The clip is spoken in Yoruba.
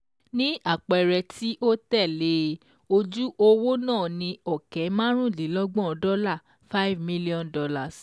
Ní àpẹẹrẹ tí ó tẹ̀lé e, ojú owó náà ni ọ̀kẹ́ márùndínlọ́gbọ̀n dọ́là five million dollars